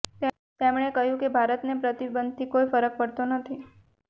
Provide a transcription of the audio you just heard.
તેમણે કહ્યું કે ભારતને પ્રતિબંધથી કોઈ ફરક પડતો નથી